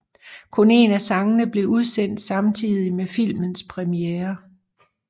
Kun en af sangene blev udsendt samtidig med filmens premiere